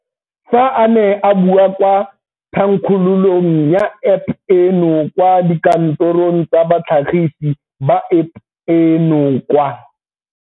Fa a ne a bua kwa thankgololong ya App eno kwa dikantorong tsa batlhagisi ba App eno kwa.